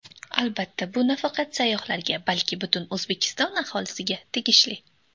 Albatta, bu nafaqat sayyohlarga, balki butun O‘zbekiston aholisiga tegishli.